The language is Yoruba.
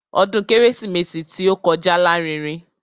Ọdún kérésìmesì tí ó kọjá lárinrin.